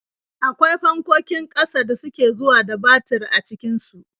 Akwai fankokin ƙasa da suke zuwa da batir a cikin su.